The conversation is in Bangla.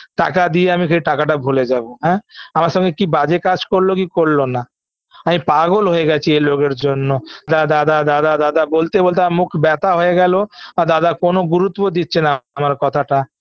টাকা দিয়ে আমি যে টাকাটা ভুলে যাব হ্যাঁ আমার সঙ্গে কি বাজে কাজ করলো কি করলো না আমি পাগল হয়ে গেছি এই লোকের জন্য দাদা দাদা দাদা বলতে বলতে আমার মুখ ব্যাথা হয়ে গেল আর দাদা কোন গুরুত্ব দিচ্ছে না আমার কথাটা